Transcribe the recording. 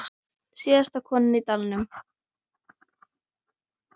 Síðasta konan í dalnum